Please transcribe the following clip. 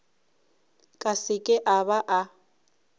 ka seke a ba a